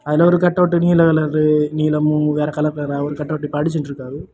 அதுல ஒரு கட்டவுட் நீல கலர் நீலமும் வேற கலர் கலரா அவரு கட்டவுட்டு இப்ப அடிச்சிட்டு இருக்காரு.